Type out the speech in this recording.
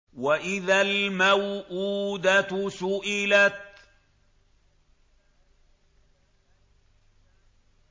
وَإِذَا الْمَوْءُودَةُ سُئِلَتْ